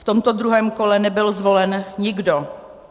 V tomto druhém kole nebyl zvolen nikdo.